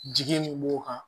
Jigi min b'o kan